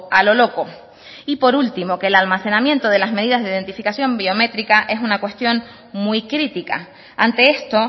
a lo loco y por último que el almacenamiento de las medidas de identificación biométrica es una cuestión muy crítica ante esto